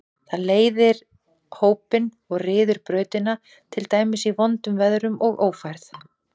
Það leiðir hópinn og ryður brautina, til dæmis í vondum veðrum og ófærð.